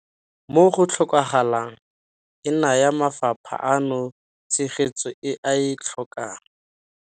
Mo go tlhokagalang, e naya mafapha ano tshegetso e a e tlhokang.